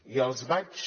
i els vaig